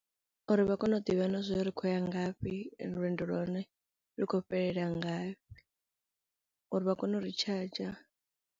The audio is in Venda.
Uri vha kone u ḓivha na zwo ri khou ya ngafhi ende lwendo lwa hone lu khou fhelela ngafhi uri vha kone u ri charger.